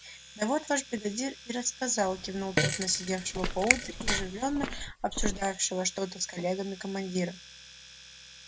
да вот ваш бригадир и рассказал кивнул тот на сидевшего поодаль и оживлённо обсуждавшего что-то с коллегами командира